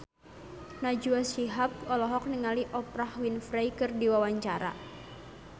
Najwa Shihab olohok ningali Oprah Winfrey keur diwawancara